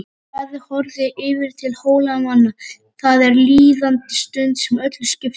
Daði horfði yfirum til Hólamanna,-það er líðandi stundin sem öllu skiptir.